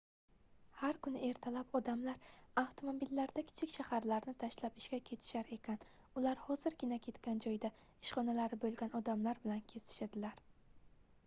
har kuni ertalab odamlar avtomobillarda kichik shaharlarni tashlab ishga ketishar ekan ular hozirgina ketgan joyda ishxonalari boʻlgan odamlar bilan kesishadilar